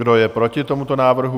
Kdo je proti tomuto návrhu?